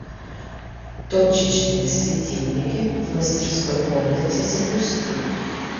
точечные светильники в мастерской комнате запусти